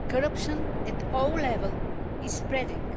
Corruption at all levels is spreading.